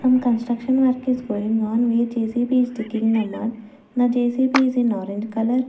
a construction work is going on where J_C_B is digging the mud the J_C_B is in orange color.